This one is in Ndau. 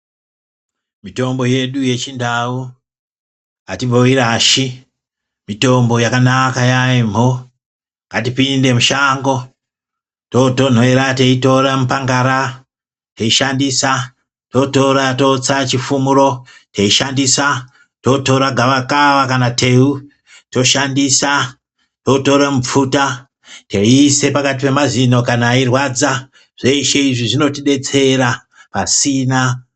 Mitombo yedu yechindau atimboirashi yambo ngatipinde mushango yeitora mitombo yedu yechipangara teishandisa tootora teitsa tootora chifumiro teishandisa tootora gavakava teishandisa tootora mupfuta teishandisa teiisa pakati poemazino eirwadza zveshe izvi zvinotidetsera pasina